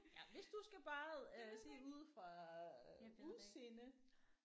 Ja men hvis du skal bare øh sige ud fra øh udseende